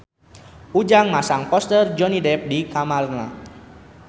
Ujang masang poster Johnny Depp di kamarna